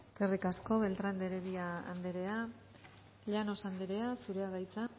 eskerrik asko beltrán de heredia anderea llanos anderea zurea da hitza